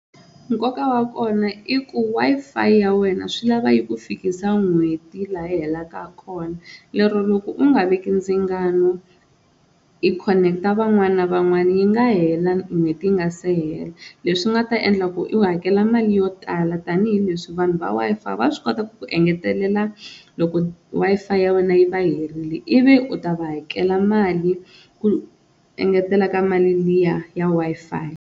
Nkoka wa kona i ku Wi-Fi ya wena swi lava yi ku fikisa n'hweti laha yi helaka kona, lero loko u nga veki ndzingano i khoneketa van'wana na van'wana yi nga hela n'hweti yi nga se hela leswi nga ta endla ku i hakela mali yo tala tanihileswi vanhu va Wi-Fi va swi kota ku engetelela loko Wi-Fi ya wena yi va herile ivi u ta va hakela mali ku engetela ka mali liya ya Wi-Fi.